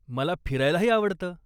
मला फिरायलाही आवडतं.